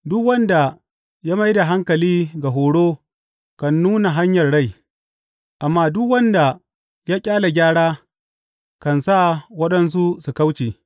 Duk wanda ya mai da hankali ga horo kan nuna hanyar rai, amma duk wanda ya ƙyale gyara kan sa waɗansu su kauce.